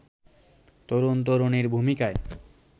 তরুণ-তরুণীর ভূমিকায়